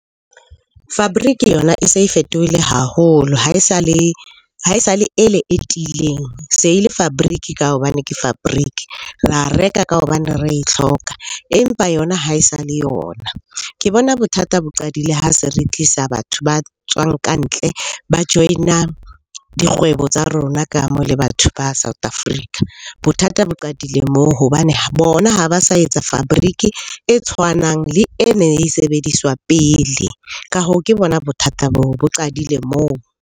Fabric yona e se e fetohile haholo. Ha e sa le ele e tiileng, se le fabric ka hobane ke fabric. Ra reka ka hobane re e tlhoka, empa yona ha e sa le yona. Ke bona bothata bo qadile ha se re tlisa batho ba tswang ka ntle, ba join-a dikgwebo tsa rona ka mo le batho ba South Africa. Bothata bo qadile moo hobane bona ha ba sa etsa fabric e tshwanang le e ne e sebediswa pele. Ka hoo ke bona bothata boo, bo qadile moo.